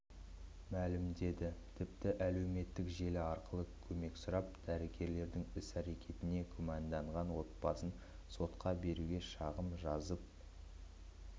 мәлімдеді тіпті әлеуметтік желі арқылы көмек сұрап дәрігерлердің іс-әрекетіне күмәндаған отбасын сотқа беруге шағым жазып